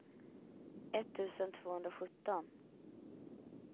etttusen tvåhundrasjutton